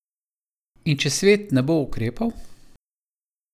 In če svet ne bo ukrepal?